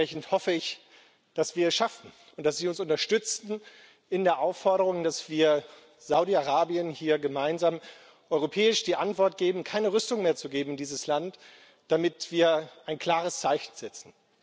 Dementsprechend hoffe ich, dass wir das schaffen und dass Sie uns unterstützen in der Aufforderung, dass wir Saudi Arabien hier gemeinsam europäisch die Antwort geben, keine Rüstung mehr in dieses Land zu geben, damit wir ein klares Zeichen setzen.